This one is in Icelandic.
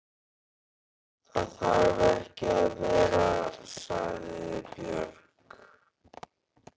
Það þarf ekki að vera, sagði Björg.